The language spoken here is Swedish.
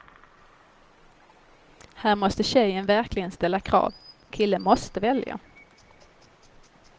Här måste tjejen verkligen ställa krav, killen måste välja.